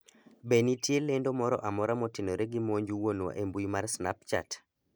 be ne nitie lendo moro amora motenore gi monj wuonwa e mbui mar snapchat